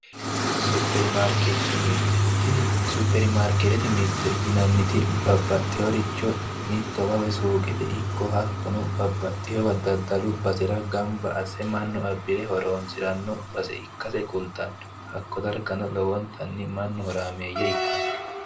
Supermariketete mirte, tinni suprmarkeetete mirte yinanniti babbaxiyooricho mittowa suuqete ikko woy babbaxowa daddallu basera mannu abbe ganba assire horoosiranno basse ikkase kultanno hakko darganno lowontayi mannu horaameeyye ikkanno.